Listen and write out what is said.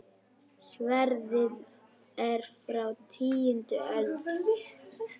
Sverðið er frá tíundu öld.